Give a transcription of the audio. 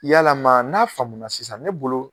Yala ma n'a faamuna sisan ne bolo.